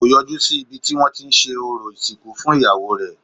Kò yọjú sí ibi tí wọ́n tí ń ṣe orò ìsìnkú fún iyawo rẹ̀